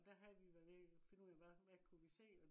og der havde vi været nede og finde ud af hva hvad kunne vi se